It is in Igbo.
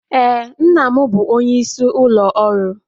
Ee, nna m bụ onyeisi ụlọ ọrụ